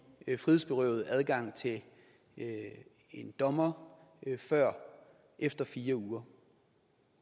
frihedsberøvede adgang til en dommer før efter fire uger